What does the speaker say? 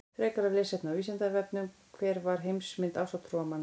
Frekara lesefni á Vísindavefnum: Hver var heimsmynd ásatrúarmanna?